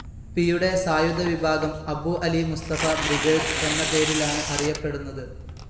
പിയുടെ സായുധ വിഭാഗം അബൂ അലി മുസ്തഫാ ബ്രിഗേഡ്സ്‌ എന്ന പേരിലാണ്‌ അറിയപ്പെടുന്നത്.